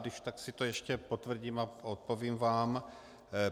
Když tak si to ještě potvrdím a odpovím vám.